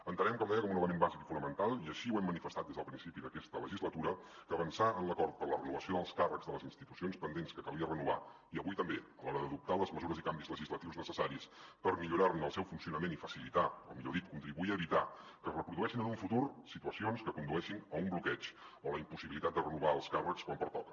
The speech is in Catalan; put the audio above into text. entenem com deia com un element bàsic i fonamental i així ho hem manifestat des del principi d’aquesta legislatura avançar en l’acord per a la renovació dels càrrecs de les institucions pendents que calia renovar i avui també a l’hora d’adoptar les mesures i canvis legislatius necessaris per millorar ne el seu funcionament i facilitar o millor dit contribuir a evitar que es reprodueixin en un futur situacions que condueixin a un bloqueig o a la impossibilitat de renovar els càrrecs quan pertoca